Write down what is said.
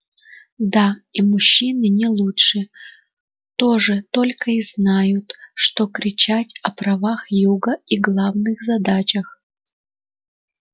да и мужчины не лучше тоже только и знают что кричать о правах юга и главных задачах